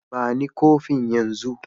Ba ni kofin yanzun.